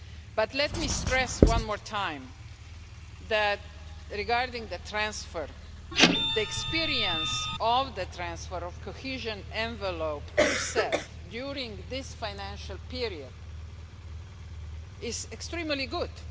But let me stress one more time regarding the transfer the experience of the transfer of the cohesion envelope to CEF during this financial period is extremely good.